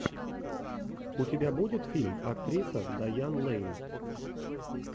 у тебя будет фильм актриса дайан лэйн